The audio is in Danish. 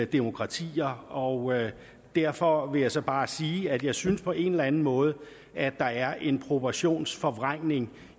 demokratier og derfor vil jeg så bare sige at jeg synes på en eller anden måde er er en proportionsforvrængning